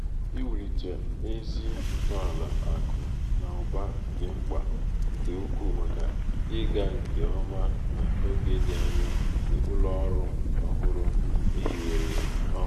iwulite ezi ntọala akụ na ụba dị mkpa nke ukwuu maka ịga nke ọma n’oge dị anya nke ụlọ ọrụ ọhụrụ e hiwere ọhụrụ.